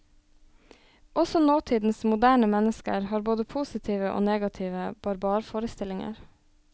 Også nåtidens moderne mennesker har både positive og negative barbarforestillinger.